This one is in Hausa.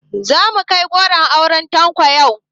Zamu kai goron auren Tanko yau